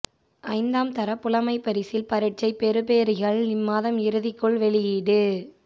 ஐந்தாம் தர புலமைப் பரிஸில் பரீட்சைப் பெறுபேறுகள் இம்மாத இறுதிக்குள் வெளியீடு